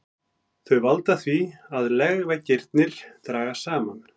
Þau valda því að legveggirnir dragast saman.